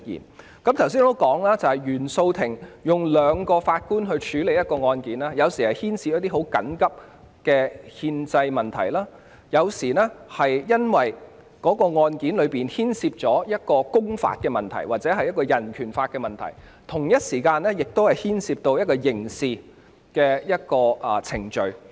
我剛才指出，原訟法庭由2名法官處理的案件，有時候是牽涉緊急的憲政問題，有時候是由於案件牽涉公法或人權法的問題，而在同一時間亦牽涉刑事程序。